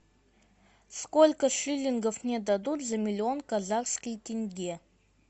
сколько шиллингов мне дадут за миллион казахских тенге